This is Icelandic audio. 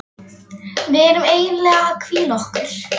Við erum eiginlega að hvíla okkur.